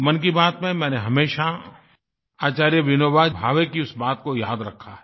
मन की बात में मैंने हमेशा आचार्य विनोबा भावे की उस बात को याद रखा है